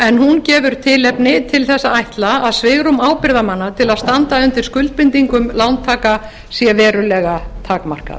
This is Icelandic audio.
en hún gefur tilefni til þess að ætla að svigrúm ábyrgðarmanna til að standa undir skuldbindingum lántaka sé verulega takmarkað